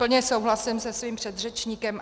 Plně souhlasím se svým předřečníkem.